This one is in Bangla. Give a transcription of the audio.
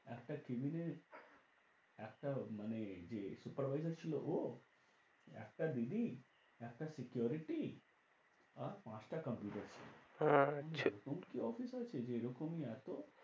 একটা cabin এ একটা মানে যে supervisor ছিল ও একটা DD একটা security আর পাঁচটা computer ছিল। আচ্ছা এরকম কি office আছে যে এরকমই এত